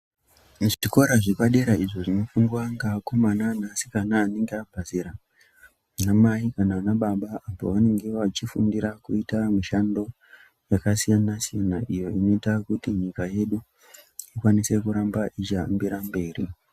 Muzvikora zvepadera izvo zvinofundwa ngeakomana ngeasikana anenge abva zera anamai kana anbaba apo vanenge vachifundira kuita mishando yakasiyanasiyana iyo inoita kuti nyika yedu ikwanise kuramba ichihambire mberi.